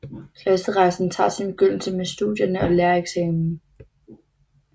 Klasserejsen tager sin begyndelse med studierne og lærereksamen